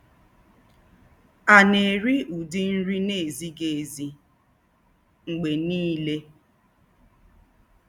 A na-eri ụdị nri na-ezighi ezi mgbe niile?